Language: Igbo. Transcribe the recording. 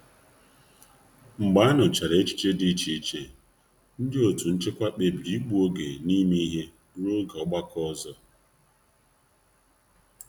Mgbe a nụchara echiche dị iche iche, ndị otu nchịkwa kpebiri ịgbu oge n'ime ihe n'ime ihe ruo oge ọgbakọ ọzọ.